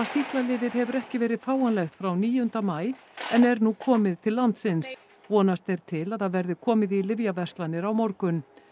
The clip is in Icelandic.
sýklalyfið hefur ekki verið fáanlegt frá níunda maí en er nú komið til landsins vonast er til að það verði komið í lyfjaverslanir á morgun